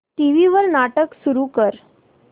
TV वर नाटक सुरू कर